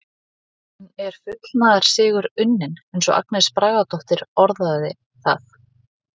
En er fullnaðarsigur unnin eins og Agnes Bragadóttir orðaði það?